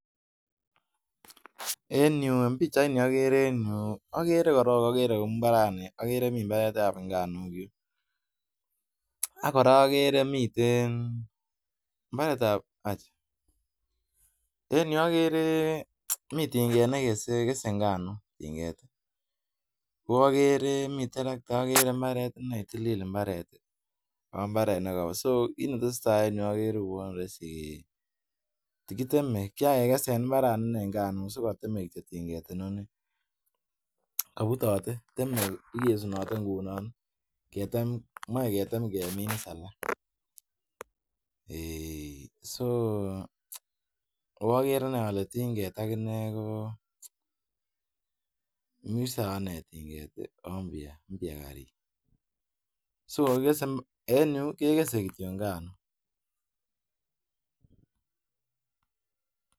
En yu en pichaini ogere en yu ogere korong ogere mbarani ogere mi mbaret ab nganuk yu ak kora ogere miten mbaret ab. En yu ogere mi tinget ne kese nganuk, ko ogere mi terekta ogere mabret iney tilil mbaret ago mbaret neo, so kit ne tesetai en yu ogere kouwon roisi kitem, kiran ke kesen mbarani nganuk so kogiteme kityo tinget inoni, kobutote, teme igesunote ngunon, ketem, moe ketem kemin iss alak. Eeiy so agere iney ole tinget ak inee ko mi sawa iney tinget ago mpya. Mpya karit so en yu kegese kityo nganuk.